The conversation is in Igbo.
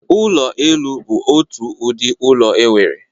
Ụlọ elu bụ otu ụdị ụlọ enwere.